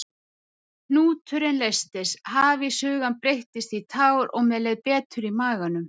Hnúturinn leystist, hafís hugans breyttist í tár og mér leið betur í maganum.